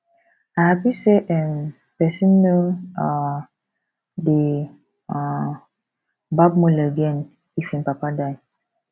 i happy say um person no um dey um barb mola again if im papa die